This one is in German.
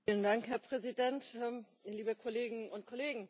Herr Präsident, liebe Kolleginnen und Kollegen!